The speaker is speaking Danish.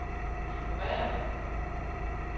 ignorér